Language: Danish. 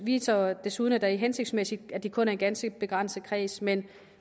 viser desuden at det er hensigtsmæssigt at der kun er en ganske begrænset kreds men